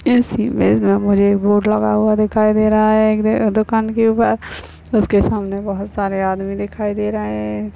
इस इमेज मे मुझे एक बोर्ड लगा हुआ दिखाई दे रहा है एक दुकान के उपर उसके सामने बहुत सारे आदमी दिखाई दे रहे हैं।